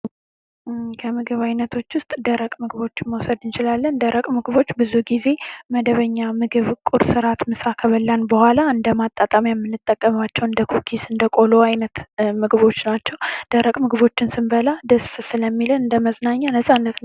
ከምግብ አይነቶች ውስጥ ደረቀ ምግቦች መውሰድ እንችላለን ደረቅ ምግቦች ብዙ ጊዜ መደበኛ ምግብ ቁርስ ምሳ አራት ከበላን በኋላ እንደ ማጣጣሚያ የምንጠቀማቸው እንደ ኩኪስ እንደ ቆሎ ምንጠቀማቸው ምግቦች ናቸው። ደረቅ ምግቦችን ስንበላ እንደመዝናኛ ደስ ይለናል።